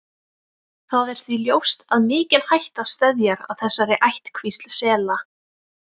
Það er því ljóst að mikil hætta steðjar að þessari ættkvísl sela.